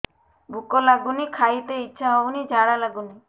ଭୁକ ଲାଗୁନି ଖାଇତେ ଇଛା ହଉନି ଝାଡ଼ା ଲାଗୁନି